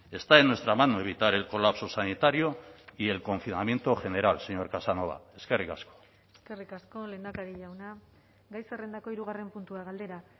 está en nuestra mano evitar el colapso sanitario y el confinamiento general señor casanova eskerrik asko eskerrik asko lehendakari jauna gai zerrendako hirugarren puntua galdera